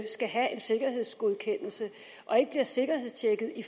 skal have en sikkerhedsgodkendelse og ikke bliver sikkerhedstjekket i